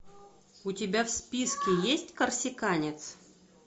у тебя в списке есть корсиканец